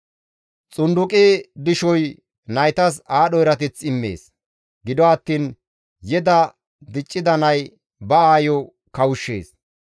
Xunduqi dishoy naytas aadho erateth immees; gido attiin yeda diccida nay ba aayo kawushshees.